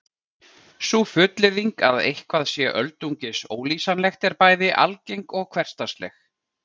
Sú fullyrðing að eitthvað sé öldungis ólýsanlegt er bæði algeng og hversdagsleg.